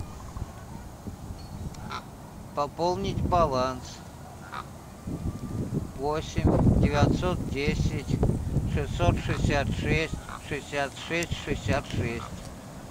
пополнить баланс восемь девятьсот десять шестьсот шестьдесят шесть шестьдесят шесть шестьдесят шесть